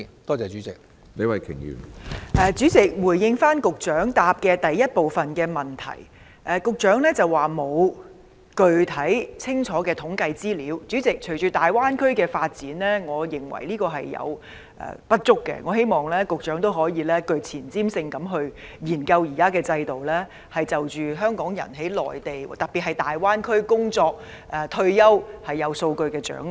主席，局長的主體答覆第一部分提到沒有具體清楚的統計資料，但隨着大灣區發展，我認為這並不足夠，希望局長可以更具前瞻性地研究現行制度，並掌握香港人在內地，特別是在大灣區工作和退休的數據。